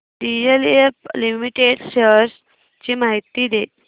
DLF Limited shares ची माहिती दे